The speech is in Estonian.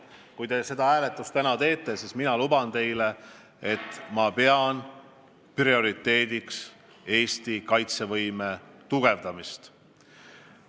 Kui te seda hääletust siin täna teete, siis teadke, et ma luban teile, et ma pean prioriteediks Eesti kaitsevõime tugevdamist.